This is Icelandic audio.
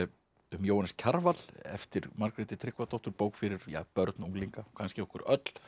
um Jóhannes Kjarval eftir Margréti Tryggvadóttur bók fyrir börn og unglinga kannski okkur öll